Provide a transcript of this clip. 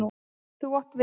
Þú átt vin!